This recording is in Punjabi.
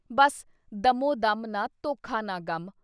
ਬੱਸ ਦਮੋ ਦਮ ਨਾ ਧੋਖਾ ਨਾ ਗਮ।